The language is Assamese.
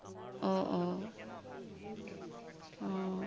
উম উম উম